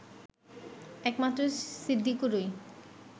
একমাত্র সিদ্দিকুরই